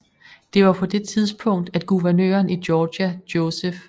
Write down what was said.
Det var på det tidspunkt at guvernøren i Georgia Joseph E